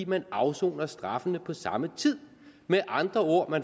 man afsoner straffene på samme tid med andre ord